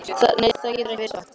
Nei, það getur ekki verið satt.